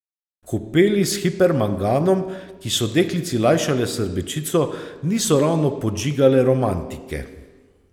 Kopeli s hipermanganom, ki so deklici lajšale srbečico, niso ravno podžigale romantike.